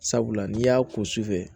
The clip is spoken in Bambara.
Sabula n'i y'a ko sufɛ